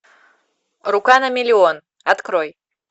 рука на миллион открой